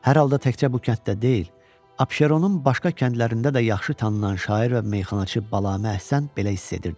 Hər halda təkcə bu kənddə deyil, Abşeronun başqa kəndlərində də yaxşı tanınan şair və meyxanaçı Balaəhsən belə hiss edirdi.